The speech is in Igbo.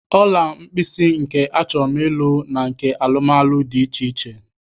Ọla mkpịsị nke achọm ịlụ na nke alụmalụ dị iche iche